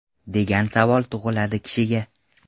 Degan savol tug‘iladi kishiga.